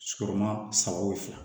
Sigima saba